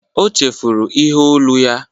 O chefuru ihe olu ya